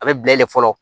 A bɛ bila ye de fɔlɔ